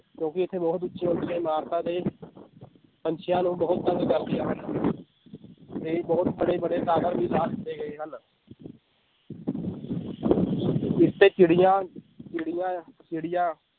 ਕਿਉਂਕਿ ਇੱਥੇ ਬਹੁਤ ਉੱਚੇ ਉੱਚੇ ਇਮਾਰਤਾਂ ਦੇ ਪੰਛੀਆਂ ਨੂੰ ਬਹੁਤ ਹਨ ਤੇ ਬਹੁਤ ਬੜੇ ਬੜੇ tower ਵੀ ਲਾ ਦਿੱਤੇ ਗਏ ਹਨ ਚਿੱੜੀਆਂ ਚਿੱੜੀਆਂ ਚਿੱੜੀਆਂ